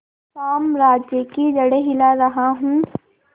साम्राज्य की जड़ें हिला रहा हूं